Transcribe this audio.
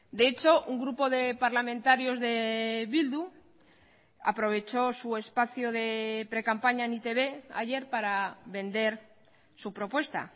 de hecho un grupo de parlamentarios de bildu aprovechó su espacio de precampaña en e i te be ayer para vender su propuesta